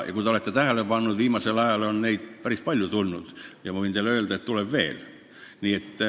Kui te olete tähele pannud, siis viimasel ajal on neid päris palju siia saali tulnud ja võin teile öelda, et tuleb veel.